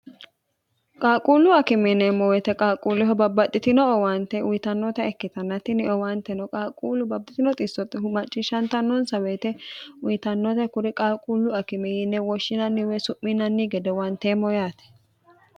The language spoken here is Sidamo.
qaalquullu akimiineemmo woyite qaalquulleho babbaxxitino owaante uyitannota ikkitannatinni owaanteno qaalquullu babbatino xiissotte humacciishshantannoonsa woyite uyitannoote kuri qalquullu akimiinne woshshinanniwee su'minanni gede wanteemmo yaate